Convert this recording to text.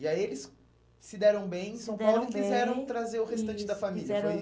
E aí eles se deram bem em São Paulo, se deram bem, e quiseram trazer o restante, isso, da família, foi